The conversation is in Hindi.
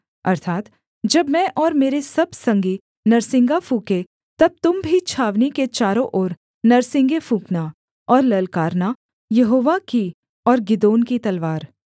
अर्थात् जब मैं और मेरे सब संगी नरसिंगा फूँकें तब तुम भी छावनी के चारों ओर नरसिंगे फूँकना और ललकारना यहोवा की और गिदोन की तलवार